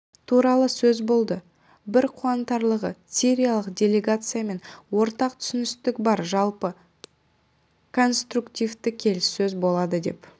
туралы сөз болды бір қуантарлығы сириялық делегациямен ортақ түсіністік бар жалпы конструктивті келіссөз болады деп